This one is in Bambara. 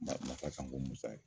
Masa Kanku Musa ye.